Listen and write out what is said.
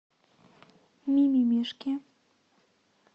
ми ми мишки